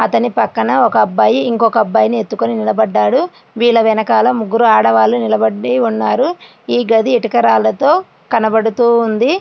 అతని పక్కన ఒక అబ్బాయి ఇంకొక అబ్బాయిని ఎత్తుకొని నిలబడ్డాడు. విల వెనకాల ముగ్గురాని వాళ్ళు నిలబడి ఉన్నారు. ఇగదీత కరాలతో కనబడుతూ ఉంది.